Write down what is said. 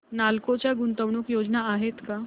नालको च्या गुंतवणूक योजना आहेत का